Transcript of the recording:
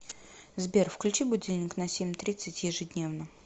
сбер включи будильник на семь тридцать ежедневно